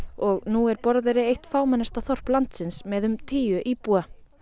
og nú er Borðeyri eitt fámennasta þorp landsins með um tíu íbúa